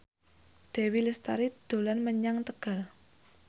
Dewi Lestari dolan menyang Tegal